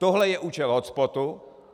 Tohle je účel hotspotu.